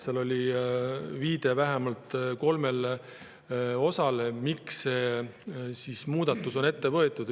Seal on viide vähemalt kolmes osas, miks see muudatus on ette võetud.